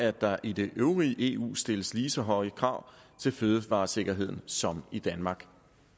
at der i det øvrige eu stilles lige så høje krav til fødevaresikkerheden som i danmark